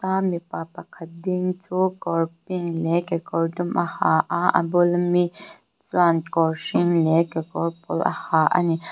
a mipa pakhat ding chu kawr pink leh kekawr dum a ha a a bul ami chuan kawr hring leh kekawr pawl a ha a ni.